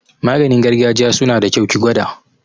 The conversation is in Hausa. Maganin gargajiya suna da kyau, ki gwada